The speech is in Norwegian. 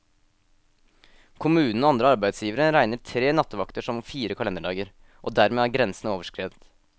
Kommunen og andre arbeidsgivere regner tre nattevakter som fire kalenderdager, og dermed er grensen overskredet.